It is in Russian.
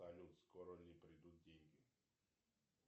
салют скоро ли придут деньги